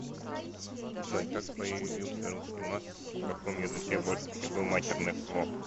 джой как появился русский мат и в каком языке больше всего матерных слов